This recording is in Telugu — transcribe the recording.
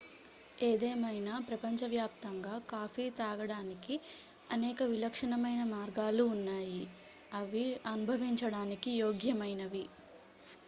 ఏదేమైనా ప్రపంచవ్యాప్తంగా కాఫీ త్రాగడానికి అనేక విలక్షణమైన మార్గాలు ఉన్నాయి అవి అనుభవించడానికి యోగ్యమైనవి